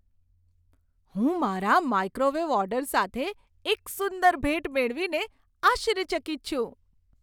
હું મારા microwave order સાથે એક સુંદર ભેટ મેળવીને આશ્ચર્યચકિત છું.